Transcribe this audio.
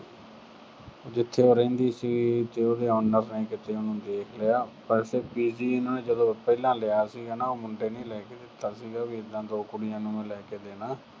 ਜਿੱਥੇ ਉਹ ਰਹਿੰਦੀ ਸੀ, ਤੇ ਉਹਦੇ owner ਨੇ ਕਿਤੇ ਉਹਨੂੰ ਦੇਖ ਲਿਆ। ਦਰਅਸਲ PG ਨੇ ਜਦੋਂ ਉਹਨੇ ਪਹਿਲਾ ਲਿਆ ਸੀਗਾ, ਉਹ ਮੁੰਡੇ ਨੇ ਲੈ ਕੇ ਦਿੱਤਾ ਸੀਗਾ ਵੀ ਏਦਾਂ ਦੋ ਕੁੜੀਆਂ ਨੂੰ ਮੈਂ ਲੈ ਕੇ ਦੇਣਾ।